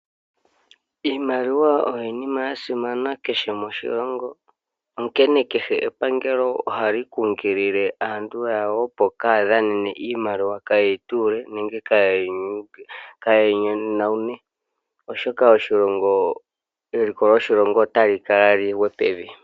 Iimaliwa oyo iinima ya simana kehe moshilongo, onkene kehe epangelo ohali kunkilile aantu yawo opo kaya dhanene iimaliwa. Kaye yi tuule nenge keye yi yone, oshoka eliko loshilongo otali kala lingwe pevi.